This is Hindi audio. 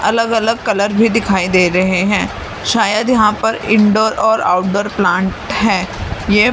अलग-अलग कलर भी दिखाई दे रहे हैं शायद यहां पर इनडोर और आउटडोर प्लांट है ये--